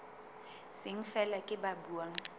seng feela ke ba buang